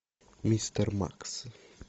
мистер макс